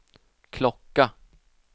klocka